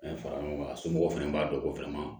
fara ɲɔgɔn kan somɔgɔw fɛnɛ b'a dɔn ko fɛnɛ ma